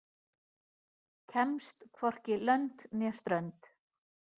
Kemst hvorki lönd né strönd.